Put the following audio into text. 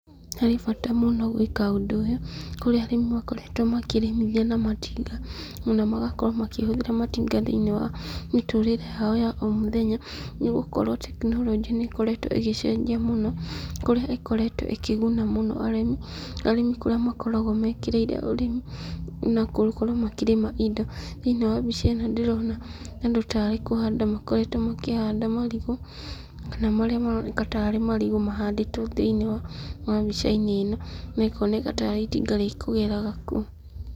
Harĩ bata mũno gwĩka ũndũ ũyũ, kũrĩa arĩmi makoretwo makĩrĩmithia na matinga, ona magakorwo makĩhũthĩra matinga thĩinIĩ wa mĩtũrĩre yao ya o mũthenya, nĩgũkorwo tekinoronjĩ nĩ ikoretwo ĩgĩcenjia mũno, kũrĩa ĩkoretwo ĩkĩguna mũno arĩmi, arĩmi kũrĩa makoragwo mekĩrĩire ũrĩmi, na gũkorwo makĩrĩma indo. ThĩinIĩ wa mbica ĩno ndĩrona andũ tarĩ kũhanda makoretwo makĩhanda marigũ, kana marĩa maroneka tarĩ marigũ mahandĩtwo thĩinIĩ wa mbica-inĩ ĩno, na ĩkoneka tarĩ itinga rĩkũgeraga kuo.